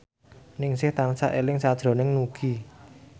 Ningsih tansah eling sakjroning Nugie